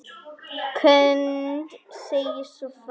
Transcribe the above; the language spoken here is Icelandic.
Knud segir svo frá